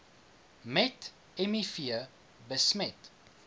met miv besmet